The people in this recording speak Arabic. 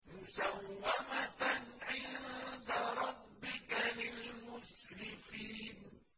مُّسَوَّمَةً عِندَ رَبِّكَ لِلْمُسْرِفِينَ